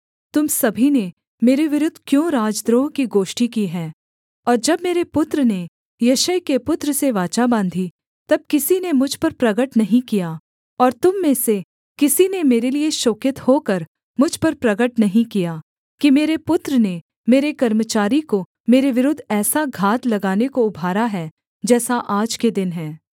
तुम सभी ने मेरे विरुद्ध क्यों राजद्रोह की गोष्ठी की है और जब मेरे पुत्र ने यिशै के पुत्र से वाचा बाँधी तब किसी ने मुझ पर प्रगट नहीं किया और तुम में से किसी ने मेरे लिये शोकित होकर मुझ पर प्रगट नहीं किया कि मेरे पुत्र ने मेरे कर्मचारी को मेरे विरुद्ध ऐसा घात लगाने को उभारा है जैसा आज के दिन है